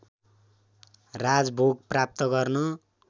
राजभोग प्राप्त गर्न